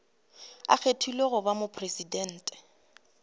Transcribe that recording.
a kgethilwego go ba mopresidente